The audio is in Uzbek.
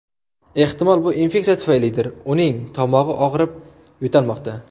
Ehtimol bu infeksiya tufaylidir uning tomog‘i og‘rib, yo‘talmoqda.